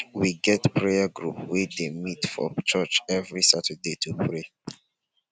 we get prayer group wey dey meet for church every saturday to pray